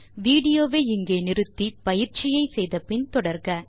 விடியோவை இங்கே இடை நிறுத்தி பயிற்சியை செய்து பின் தொடர்க